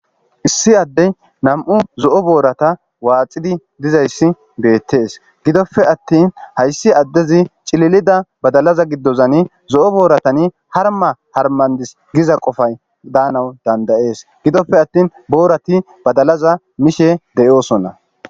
issi addey nam7u zo7o boorata waaxidi dizayssi beettees gidopfe attin hayssi addezi cililida badalaza giddozani zo7o booratani harma harmandis giza qofay daanawu dandayees gidopfe attin boorati badalaza mishe deyoosonna